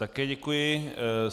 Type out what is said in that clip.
Také děkuji.